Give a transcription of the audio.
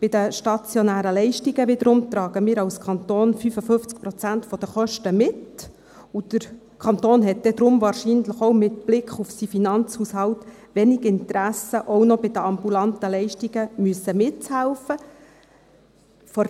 Bei den stationären Leistungen wiederum tragen wir als Kanton 55 Prozent der Kosten mit, und der Kanton hat darum, wahrscheinlich auch mit Blick auf seinen Finanzhaushalt, wenig Interesse, auch bei den ambulanten Leistungen noch mithelfen zu müssen.